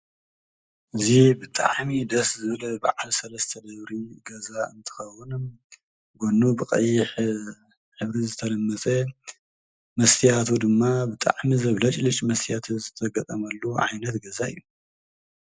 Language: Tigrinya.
እዚ ብጣዕሚ ደስ ዝብል ብዓል ሰለስተ ደብሪ ገዛ እንትከዉን ጎኑ ብቀይሕ ሕብሪ ዝተለመፅ መስትያቱ ድማ ብጣዕሚ ዘብለጭልጭ መስትያት ዝተገጠመሉ ዓይነት ገዛ እዩ ።